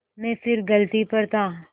मैं फिर गलती पर था